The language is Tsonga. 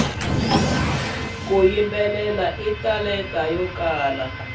ku yimbelela i talenta yo kala